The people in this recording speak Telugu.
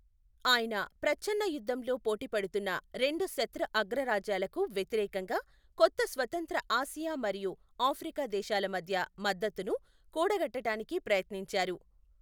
ఆయన ప్రచ్ఛన్నయుద్ధంలో పోటీ పడుతున్న రెండు శత్రు అగ్రరాజ్యాలకు వ్యతిరేకంగా కొత్త స్వతంత్ర ఆసియా మరియు ఆఫ్రికా దేశాల మధ్య మద్దతును కూడగట్టడానికి ప్రయత్నించారు.